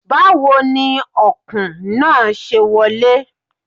Báwo ni Ọ̀kùn náà ṣe wọlé?